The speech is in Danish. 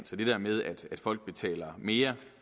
til det der med at folk betaler mere